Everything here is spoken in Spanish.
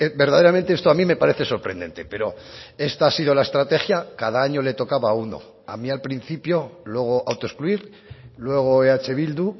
verdaderamente esto a mí me parece sorprendente pero esta ha sido la estrategia cada año le tocaba a uno a mí al principio luego autoexcluir luego eh bildu